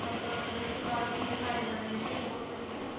ਤੱਕ ਦਸਤਕਾਰ ਵੀ ਵਿਖਾਏ ਜਾਂਦੇ ਨੇਗੇ ਬਹੁਤ ਵਧੀਆ।